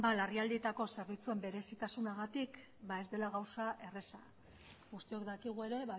larrialdietako zerbitzuen berezitasunagatik ba ez dela gauza erreza guztiok dakigu ere